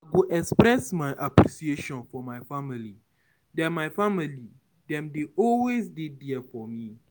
I go express my appreciation for my family; dem my family; dem dey always there for me.